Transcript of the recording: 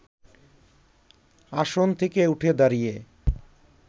আসন থেকে উঠে দাঁড়িয়ে